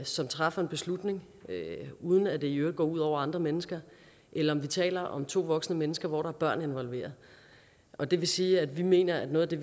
som træffer en beslutning uden at det i øvrigt går ud over andre mennesker eller om vi taler om to voksne mennesker hvor der er børn involveret og det vil sige at vi mener at noget af det